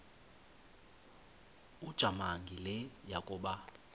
ujamangi le yakoba